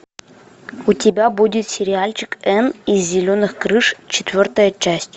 у тебя будет сериальчик энн из зеленых крыш четвертая часть